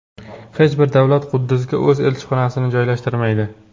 Hech bir davlat Quddusga o‘z elchixonasini joylashtirmaydi.